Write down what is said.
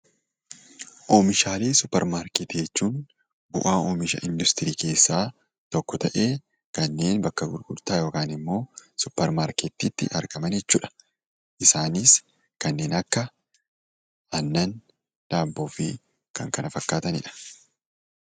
Oomishaalee suuparmarkeetii jechuun bu'aa oomisha industirii keessaa tokko ta'ee kanneen bakka gurgurtaa yookan immoo suuparmarkeettiitti argaman jechuudha. Isaanis kanneen akka aannan, daabboo fi kan kana fakkaatanidha.